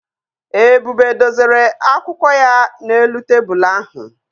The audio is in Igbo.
Ebube dozere akwụkwọ ya n'elu tebụlụ ahụ